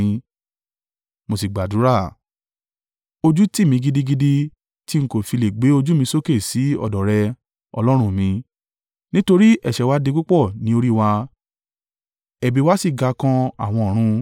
Mo sì gbàdúrà: “Ojú tì mí gidigidi, tí n kò fi lè gbé ojú mi sókè sí ọ̀dọ̀ rẹ, Ọlọ́run mi, nítorí ẹ̀ṣẹ̀ wá di púpọ̀ ní orí wa, ẹ̀bi wa sì ga kan àwọn ọ̀run.